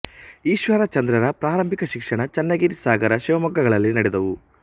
ಈಶ್ವರ ಚಂದ್ರರ ಪ್ರಾರಂಭಿಕ ಶಿಕ್ಷಣ ಚನ್ನಗಿರಿ ಸಾಗರ ಶಿವಮೊಗ್ಗಗಳಲ್ಲಿ ನಡೆದವು